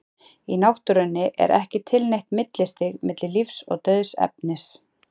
í náttúrunni er ekki til neitt millistig milli lífs og dauðs efnis